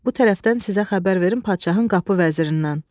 Bu tərəfdən sizə xəbər verim padşahın qapı vəzirindən.